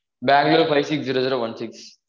bangalore five six zero zero one six